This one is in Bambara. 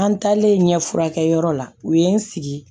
An taalen ɲɛ furakɛ yɔrɔ la u ye n sigi